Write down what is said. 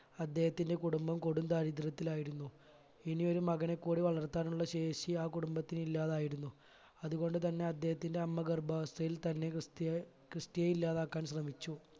അദ്ദേഹത്തിന്റെ കുടുംബം കൊടും ദാരിദ്രത്തിലായിരുന്നു ഇനിയൊരു മകനെ കൂടി വളർത്താനുള്ള ശേഷി ആ കുടുംബത്തിനില്ലാതായിരുന്നു അതുകൊണ്ട് തന്നെ അദ്ദേഹത്തിന്റെ അമ്മ ഗർഭാവസ്ഥയിൽ തന്നെ ക്രിസ്റ്റി ക്രിസ്റ്റിയെ ഇല്ലാതാക്കാൻ ശ്രമിച്ചു